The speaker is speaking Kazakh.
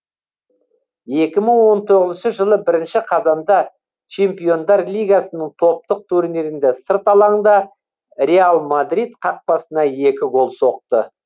екі мың он тоғызыншы жылы бірінші қазанда чемпиондар лигасының топтық турнирінде сырт алаңда реал мадрид қақпасына екі гол соқты